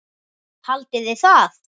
Haldiði það?